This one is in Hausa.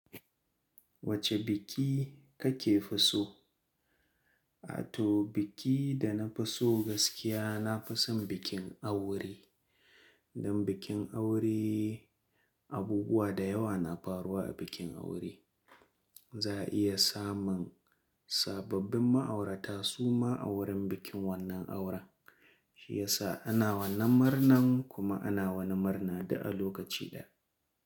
Wacce biki kake fi so? A to biki da na fi so gaskiya, na fi son bikin aure. Dan bikin aure abubuwa da yawa na faruwa a bikin aure. Za a iya samun sababbin ma'aurata suma a wurin bikin wannan auren. Shi yasa ana wannan murnan kuma ana wannan murna da a lokaci ɗaya.